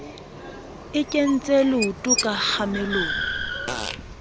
e kentse leoto ka kgamelong